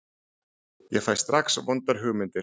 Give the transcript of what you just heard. Ég fæ strax vondar hugmyndir.